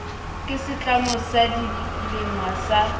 ke setlamo sa dilengwa sa